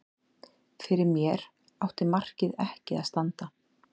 Fyrir mér átti markið ekki að standa.